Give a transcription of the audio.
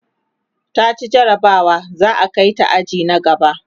taci jarabawa za'a Kai ta aji na gaba